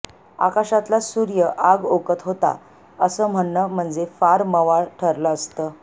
आकाशातला सूर्य आग ओकत होता असं म्हणणं म्हणजे फ़ार मवाळ ठरलं असतं